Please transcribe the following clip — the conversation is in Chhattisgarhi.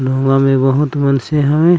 नौंवा में बहुत बंसी हैय।